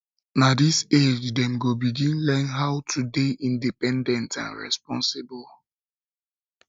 na dis age dem go begin learn how to dey independent and responsible